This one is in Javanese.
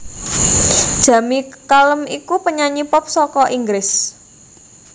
Jamie Cullum iku penyanyi pop saka Inggris